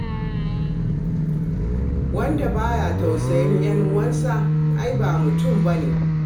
Wanda ba ya tausayin 'yan'uwansa ai ba mutum ba ne.